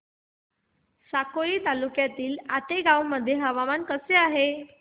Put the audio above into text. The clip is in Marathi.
साकोली तालुक्यातील आतेगाव मध्ये आज हवामान कसे आहे